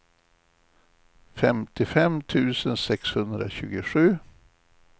femtiofem tusen sexhundratjugosju